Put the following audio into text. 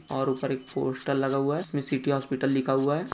और ऊपर एक पोस्टर लगा हुआ हैं जिसमे सिटी हॉस्पिटल लिखा हुआ हैं |